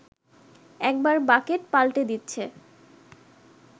একবার বাকেট পাল্টে দিচ্ছে